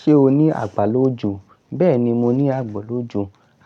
Ṣé o ní àgbàlójù? Bẹ́ẹ̀ni, mo ní àgbàlójù.